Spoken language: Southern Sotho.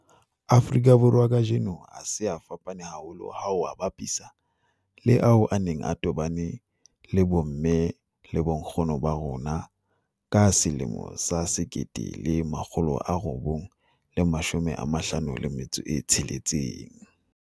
Afrika Borwa kajeno a se a fapane haholo ha o a bapisa le ao a neng a tobane le bomme le bonkgono ba rona ka 1956.